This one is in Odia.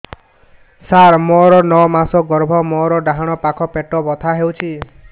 ସାର ମୋର ନଅ ମାସ ଗର୍ଭ ମୋର ଡାହାଣ ପାଖ ପେଟ ବଥା ହେଉଛି